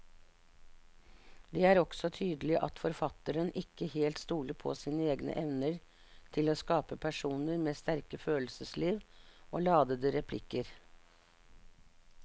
Det er også tydelig at forfatteren ikke helt stoler på sine egne evner til å skape personer med sterke følelsesliv og ladete replikker.